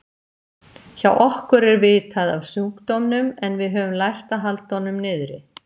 Hjá okkur er vitað af sjúkdómnum en við höfum lært að halda honum niðri.